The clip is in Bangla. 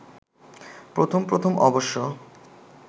প্রথম প্রথম অবশ্য